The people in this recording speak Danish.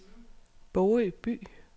Bogø By